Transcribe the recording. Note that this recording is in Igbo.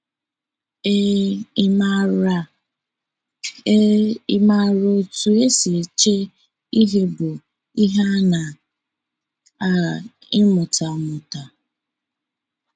Ee, ịmara Ee, ịmara otú e si eche ihe bụ ihe a na - agha ịmụta amụta.